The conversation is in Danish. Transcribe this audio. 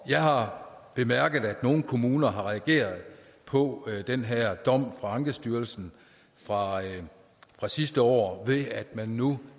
jeg har bemærket at nogle kommuner har reageret på den her dom fra ankestyrelsen fra fra sidste år ved at man nu